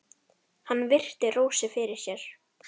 Hann virti Rósu fyrir sér.